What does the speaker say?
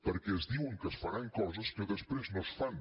perquè es diuen que es faran coses que després no es fan